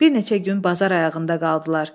Bir neçə gün bazar ayağında qaldılar.